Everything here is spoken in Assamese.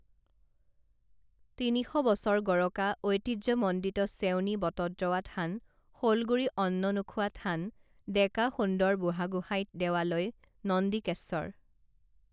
তিনিশ বছৰ গৰকা ঐতিহ্য মণ্ডিত চেউনী বটদ্ৰৱা থান শলগুৰি অন্ন নোখোৱা থান ডেকা সুন্দৰ বুঢ়াগোসাঁই দেৱালয় নন্দিকেশ্বৰ